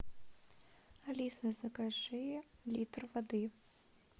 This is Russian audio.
алиса закажи литр воды